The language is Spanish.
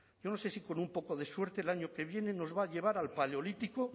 yo no sé si con un poco de suerte el año que viene nos va a llevar al paleolítico